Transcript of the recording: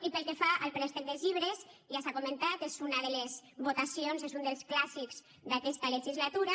i pel que fa al préstec dels llibres ja s’ha comentat és una de les votacions és un dels clàssics d’aquesta legislatura